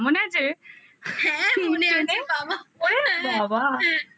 হ্যাঁ মনে আছে